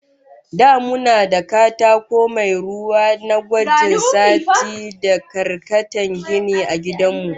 Da muna da katako mai ruwa na gwajin sati da karkatan gini, a gidan mu